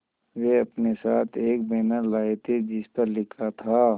वे अपने साथ एक बैनर लाए थे जिस पर लिखा था